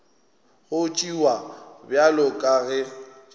go tšewa bjalo ka ge